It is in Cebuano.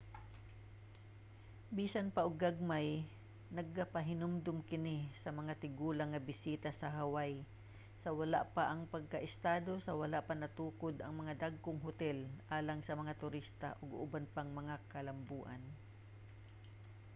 bisan pa og gagmay magpahinumdom kini sa mga tigulang nga bisita sa hawaii sa wala pa ang pagkaestado sa wala pa natukod ang mga dagkong hotel alang sa mga turista ug uban pang mga kalamboan